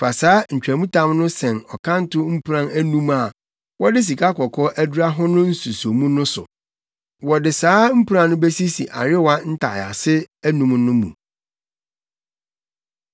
Fa saa ntwamtam no sɛn ɔkanto mpuran anum a wɔde sikakɔkɔɔ adura ho no nsusomu no so. Wɔde saa mpuran no besisi ayowa ntaease anum no mu.